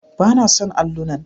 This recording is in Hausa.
Ba na son allunan.